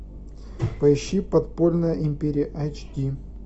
поищи подпольная империя эйч ди